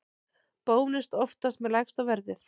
Bónus oftast með lægsta verðið